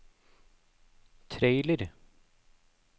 trailer